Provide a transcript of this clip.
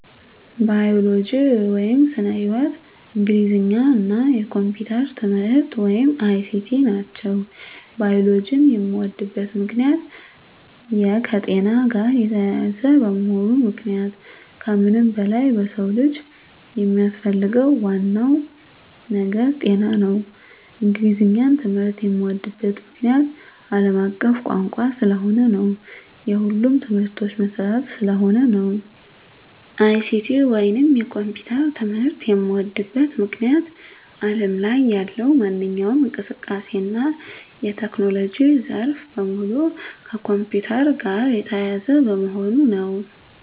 ባዮሎጂ (ስነ-ህይዎት)፣ እንግሊዘኛ እና የኮምፒዩተር ትምህርት(ICT) ናቸው። ባዮሎጂን የምወድበት ምክንያት - የከጤና ጋር የተያያዘ በመሆኑ ምክንያቱም ከምንም በላይ የሰው ልጅ የሚያስፈልገው ዋናው ነገር ጤና ነው። እንግሊዘኛን ትምህርት የምዎድበት ምክንያት - አለም አቀፍ ቋንቋ ስለሆነ እና የሁሉም ትምህርቶች መሰረት ስለሆነ ነው። ICT ወይንም የኮምፒውተር ትምህርት የምዎድበት ምክንያት አለም ላይ ያለው ማንኛውም እንቅስቃሴ እና የቴክኖሎጂ ዘርፍ በሙሉ ከኮምፒውተር ጋር የተያያዘ በመሆኑ ነው።